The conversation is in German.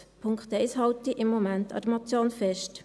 Beim Punkt 1 halte ich im Moment an der Motion fest.